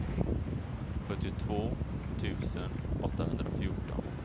sjuttiotvå tusen åttahundrafjorton